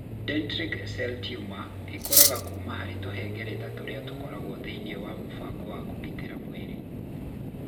Dendritic cell tumor ĩkũraga kuuma harĩ tũhengereta tũrĩa tũkoragwo thĩinĩ wa mũbango wa kũgitĩra mwĩrĩ.